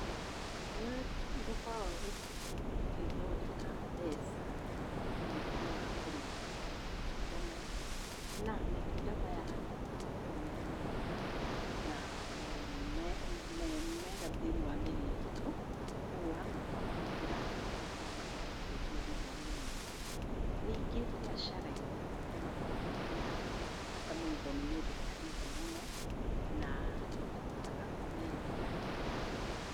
Nĩ tũkoragwo tũkĩthondeka mbeca na ũhoro wa kurĩma matunda maya. Na matunda maya nĩ makoragwo me mega na me mega thĩiniĩ wa mĩĩrĩ itũ, kwoguo twa mahũthĩra nĩ makoragwo magĩtũteithia thĩiniĩ wa mĩĩrĩ itũ. Rĩngĩ mbiacara-inĩ nĩ makoragwo mena bata mũno tondũ nĩ meendekanĩte mũno na nĩ tũhotaga kũmeendia na tũkagĩa na mbeca.